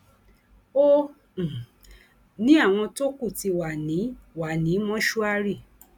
ó um ní àwọn tó kù ti wà ní wà ní mọṣúárì